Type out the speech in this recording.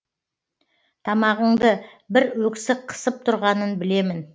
тамағыңды бір өксік қысып тұрғанын білемін